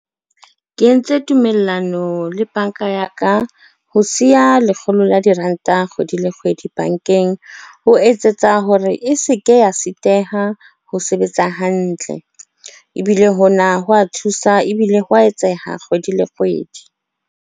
Ke entse tumellano le banka ya ka, ho siya lekgolo la diranta kgwedi le kgwedi bankeng. Ho etsetsa hore e se ke ya sitiseha ho sebetsa hantle ebile hona ho wa thusa ebile hwa etseha kgwedi le kgwedi.